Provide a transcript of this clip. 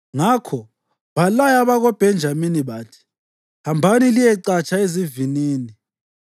Ngakho balaya abakoBhenjamini bathi, “Hambani liyecatsha ezivinini